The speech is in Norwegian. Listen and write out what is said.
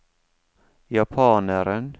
japaneren